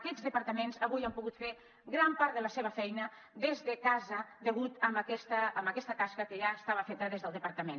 aquests departaments avui han pogut fer gran part de la seva feina des de casa degut a aquesta tasca que ja estava feta des del departament